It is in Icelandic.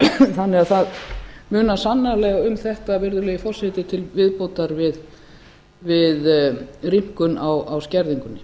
þannig að það munar sannarlega um þetta virðulegi forseti til viðbótar við rýmkun á skerðingum